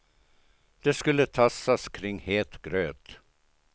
Det skulle tassas kring het gröt.